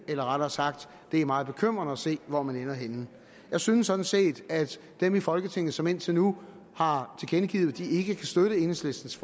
eller rettere sagt det er meget bekymrende at se hvor man ender henne jeg synes sådan set at dem i folketinget som indtil nu har tilkendegivet at de ikke kan støtte enhedslistens